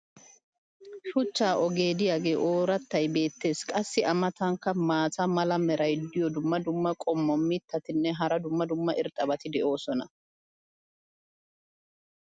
shuchcha ogee diyagee oorattay beetees. qassi a matankka maata mala meray diyo dumma dumma qommo mitattinne hara dumma dumma irxxabati de'oosona.